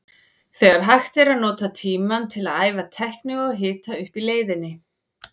Þegar hægt er að nota tímann til að æfa tækni og hita upp í leiðinni.